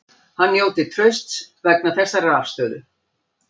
Hann njóti trausts vegna þessarar afstöðu